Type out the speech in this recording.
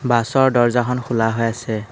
বাছৰ দৰ্জাখন খোলা হৈ আছে।